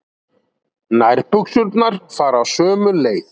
Nærbuxurnar fara sömu leið.